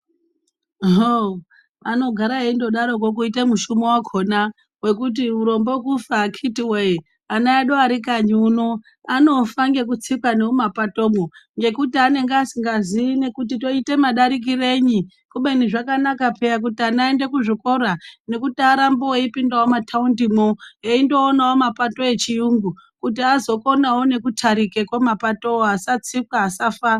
Hoo anogara eindodaroko kuita mushumo wakona wokuti murombo kufa akiti wee ana edu arikanyi uno anofa ngekutsika ngemumapatomwo ngekuti anenge asikazii kuti toita madarikirenyi kubeni zvakanaka peya kuti vana vaende kuzvikora nekuti arambe eipindawo mumataundimwo eindoonawo mapato echiyungu kuti azokonawo nekutarikawo mapatowo asatsikwa asafa.